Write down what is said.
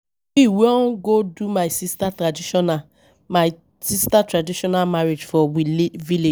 We wan go do my sister traditional my sister traditional marriage for we village.